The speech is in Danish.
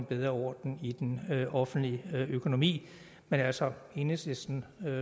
bedre orden i den offentlige økonomi men altså enhedslisten